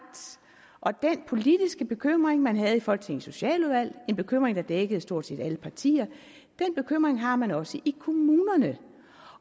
den politiske bekymring man havde i folketingets socialudvalg en bekymring der dækkede stort set alle partier har man har man også i kommunerne